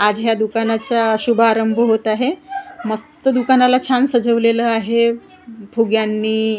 आज ह्या दुकानाचा शुभारंभ होत आहे मस्त दुकानाला छान सजवलेलं आहे फुग्यांनी .